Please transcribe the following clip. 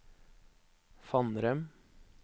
Fannrem